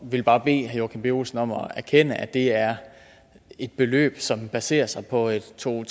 vil bare bede herre joachim b olsen om at erkende at det er et beløb som baserer sig på en to og